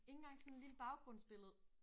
Ikke engang sådan et lille baggrundsbillede?